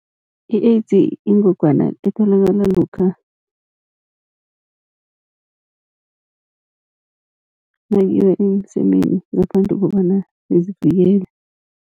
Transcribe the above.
I-AIDS yingogwana etholakala lokha nakuyiwa emsemeni ngaphandle kobana nizivikele.